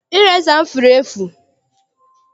Ireza m furu efu.